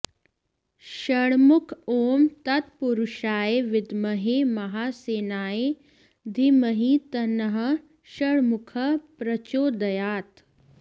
षण्मुख ॐ तत्पुरुषाय विद्महे महासेनाय धीमहि तन्नः षण्मुखः प्रचोदयात्